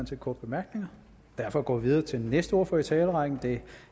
til korte bemærkninger derfor går vi videre til den næste ordfører i talerrækken og det er